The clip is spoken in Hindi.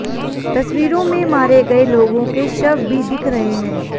तस्वीरों में मारे गए लोगों के शव भी दिख रहे हैं